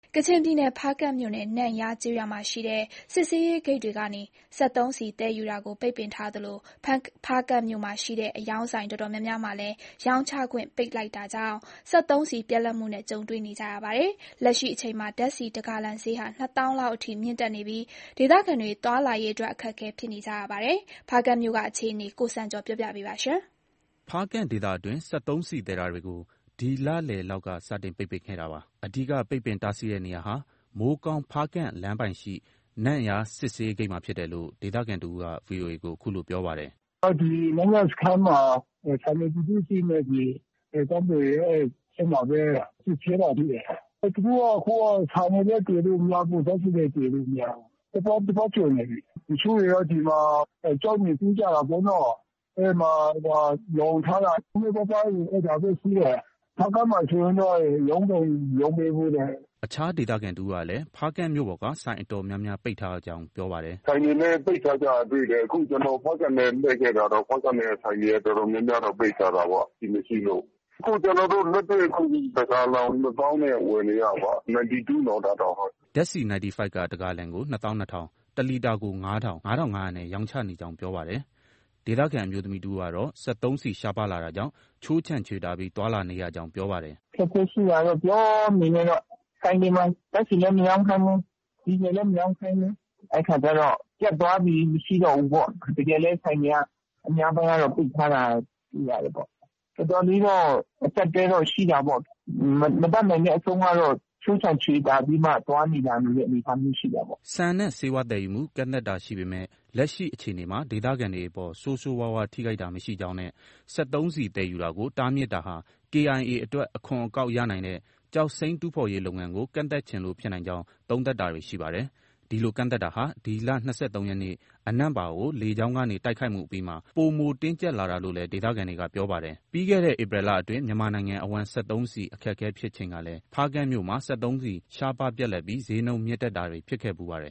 ကချင်ပြည်နယ်၊ ဖားကန့်မြို့နယ် နန့်ယားကျေးရွာမှာရှိတဲ့ စစ်ဆေးရေးဂိတ်တွေကနေ စက်သုံးဆီ သယ်ယူတာကို ပိတ်ပင်ထားသလို ဖားကန့်မြို့မှာရှိတဲ့ အရောင်းဆိုင် အတော်များများမှာလည်း ရောင်းချခွင့် ပိတ်လိုက်တာကြောင့် စက်သုံးဆီ ပြတ်လပ်နေရပါတယ်။ လက်ရှိအချိန်မှာ ဓါတ်ဆီတဂါလံဈေးဟာ ၂ သောင်းလောက်အထိ မြင့်တက်နေပြီး ဒေသခံတွေ သွားလာရေးအတွက် အခက်အခဲဖြစ်နေကြပါတယ်။ ဖားကန့်မြို့က အခြေအနေကို ကိုစံကျော်က တင်ပြပေးထားပါတယ်။ ဖားကန့်ဒေသအတွင်း စက်သုံးဆီသယ်တာတွေကို ဒီလလယ်လောက်က စတင်ပိတ်ပင်ခဲ့တာပါ။ အဓိကပိတ်ပင်တားဆီးတဲ့နေရာဟာ မိုးကောင်း-ဖားကန့်လမ်းပိုင်းရှိ နန့်ယားစစ်ဆေးဂိတ်မှာဖြစ်တယ်လို့ ဒေသခံတဦးက VOA ကို အခုလို ပြောပါတယ်။ “ ဒီနန့်ယားစခန်းမှာ ဌာနေပြည်သူ့စစ်နဲ့ တပ်မတော်သားတွေကပဲ အဲဒီမှာ စစ်ဆေးတာရှိတယ်။ သူတို့က အခုက ဆန်တွေလည်း သယ်လို့ မရဘူး။ ဓါတ်ဆီလည်း သယ်လို့ မရဘူး။ တပတ်ကျော်နေပြီ။ တချို့တွေက ဒီမှာ ကျောက်မြေတူးကြတာပေ့ါနော်။ အဲဒီမှာ လှောင်ထားတာ နည်းနည်းပါးပါး အဲဒါပဲ ရှိတယ်။ ဖားကန့်မှာဆိုရင်တော့ ရောင်းတောင် မရောင်းပေးဘူးတဲ့။” အခြားဒေသခံတဦးကလည်း ဖားကန့်မြို့ပေါ်က ဆိုင်အတော်များများ ပိတ်ထားရကြောင်း ပြောပါတယ်။ “ ဆိုင်တွေလည်း ပိတ်ထားကြတာ တွေ့တယ်။ အခု ကျနော် ဖားကန့်ထဲ လှည့်ခဲ့တာ။ ဖားကန့်ထဲကဆိုင်တွေက တော်တော်များများတော့ ပိတ်ထားတာပေါ့။ ဆီမရှိလို့။ အခု ကျနော်တို့ တဂါလံကို ၂ သောင်းနဲ့ ဝယ်နေရတာပ။ နိုင်တီတူးနော်။ ဒါတောင်။” ဓါတ်ဆီ နိုင်တီဖိုက်က တဂါလံကို ၂ သောင်း ၂ ထောင်၊ တလီတာကို ၅ ထောင်၊ ငါ့ထောင့်ငါးရာနဲ့ ရောင်းချနေကြောင်း ပြောပါတယ်။ ဒေသခံအမျိုးသမီးတဦးကတော့ စက်သုံးဆီရှားပါးလာတာကြောင့် ခြိုးခြံချွေတာပြီး သွားလာနေရကြောင်း ပြောပါတယ်။ “ အခက်အခဲရှိတာတော့ ပြောမနေနဲ့တော့။ ဆိုင်တွေမှာ ဓါတ်ဆီလည်း မရောင်းခိုင်းဘူး။ ဒီဇယ်လည်း မရောင်းခိုင်းဘူး။ အဲဒီအခါကျ ပြတ်သွားပြီ၊ မရှိတော့ဘူးပေါ့။ တကယ်လည်း ဆိုင်တွေက အများပိုင်းကတော့ ပိတ်ထားတာ တွေ့ရတယ်ပေါ့။ တော်တော်လေးတော့ အကျပ်အတည်းတော့ ရှိတာပေါ့။ မတတ်နိုင်တဲ့အဆုံးကတော့ ခြိုးခြံချွေတာပြီး သွားနေ၊ လာနေတဲ့ သဘောရှိတာပေါ့။” ဆန်နဲ့ ဆေးဝါးသယ်ယူမှု ကန့်သတ်တာရှိပေမယ့် လက်ရှိအခြေအနေမှာ ဒေသခံတွေအပေါ် ဆိုးဆိုးဝါးဝါး ထိခိုက်တာ မရှိကြောင်း နဲ့ စက်သုံးဆီ သယ်ယူတာကို တားမြစ်တာဟာ KIA အတွက် အခွန်အကောက်ရနိုင်တဲ့ ကျောက်စိမ်းတူးဖော်ရေးလုပ်ငန်းကို ကန့်သတ်ချင်လို့ ဖြစ်နိုင်ကြောင်း သုံးသပ်တာတွေ ရှိပါတယ်။ ဒီလို ကန့်သတ်တာဟာ ဒီလ ၂၃ ရက်နေ့ အနန့်ပါကို လေကြောင်းကနေ တိုက်ခိုက်မှုအပြီးမှာ ပိုမိုတင်းကျပ်လာတာလို့လည်း ဒေသခံတွေက ပြောပါတယ်။ ပြီးခဲ့တဲ့ ဧပြီလအတွင်း မြန်မာနိုင်ငံအဝှမ်း စက်သုံးဆီ အခက်အခဲဖြစ်ချိန်ကလည်း ဖားကန့်မြို့မှာ စက်သုံးဆီ ရှားပါးပြတ်လပ်ပြီး ဈေးနှုန်း မြင့်တက်တာတွေ ဖြစ်ခဲ့ဖူးပါတယ်